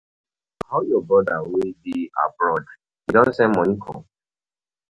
How your brother wey dey abroad? E don send money come?